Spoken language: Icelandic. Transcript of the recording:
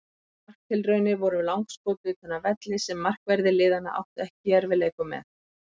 Helstu marktilraunir voru langskot utan af velli sem markverðir liðanna áttu ekki í erfiðleikum með.